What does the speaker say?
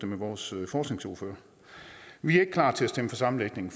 med vores forskningsordfører vi er ikke klar til at stemme for sammenlægningen